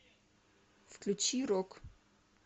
включи рок